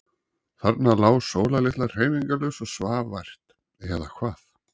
Þarna lá Sóla litla hreyfingarlaus og svaf vært. eða hvað?